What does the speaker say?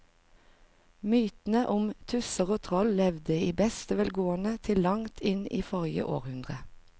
Mytene om tusser og troll levde i beste velgående til langt inn i forrige århundre.